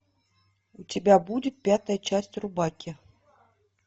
у тебя будет пятая часть рубаки